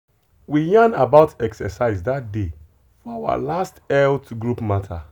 we yarn about exercise that day for our last health group matter.